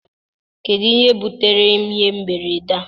kedu ihe butere ihe mberede a?